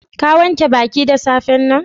Ka wanke baki da safe'n nan?